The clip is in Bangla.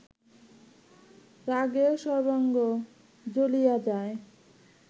রাগে সর্বাঙ্গ জ্বলিয়া যায়